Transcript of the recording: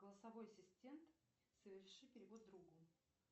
голосовой ассистент соверши перевод другу